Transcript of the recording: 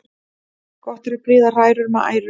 Gott er að prýða hrærur með æru.